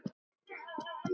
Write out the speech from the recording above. Ég urra.